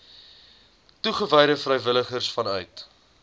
toegewyde vrywilligers vanuit